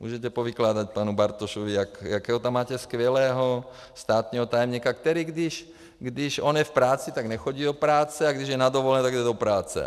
Můžete povykládat panu Bartošovi, jakého tam máte skvělého státního tajemníka, který - když on je v práci, tak nechodí do práce, a když je na dovolené, tak jde do práce.